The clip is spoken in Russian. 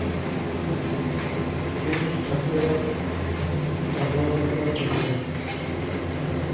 фильм актера арнольда шварценеггера